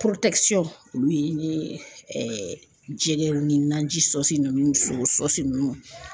olu ye ni jɛgɛw ni naji so ninnu so ninnu.